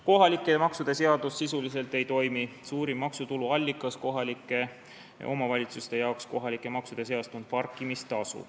Kohalike maksude seadus sisuliselt ei toimi, suurim maksutulu allikas kohalike omavalitsuste jaoks kohalike maksude seas on parkimistasu.